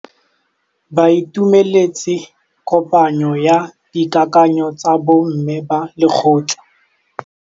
Ba itumeletse kôpanyo ya dikakanyô tsa bo mme ba lekgotla.